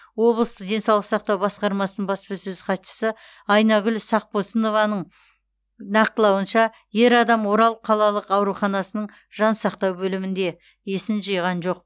облыстық денсаулық сақтау басқармасының баспасөз хатшысы айнагүл сақпосынованың нақтылауынша ер адам орал қалалық ауруханасының жансақтау бөлімінде есін жиған жоқ